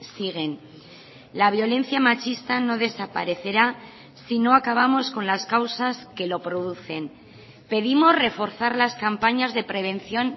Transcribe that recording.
siguen la violencia machista no desaparecerá si no acabamos con las causas que lo producen pedimos reforzar las campañas de prevención